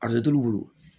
A t'olu bolo